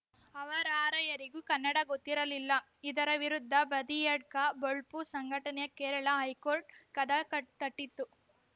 ಅವರಾರ‍ಯರಿಗೂ ಕನ್ನಡ ಗೊತ್ತಿರಲಿಲ್ಲ ಇದರ ವಿರುದ್ಧ ಬದಿಯಡ್ಕ ಬೊಳ್ಪು ಸಂಘಟನೆ ಕೇರಳ ಹೈಕೋರ್ಟ್‌ ಕದಾ ಕ ತಟ್ಟಿತ್ತು